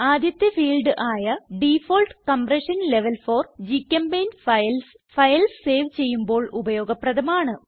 ആദ്യത്തെ ഫീൽഡ് ആയ default compression level for ഗ്ചെമ്പെയിന്റ് ഫൈൽസ് ഫയൽസ് സേവ് ചെയ്യുമ്പോൾ ഉപയോഗപ്രദമാണ്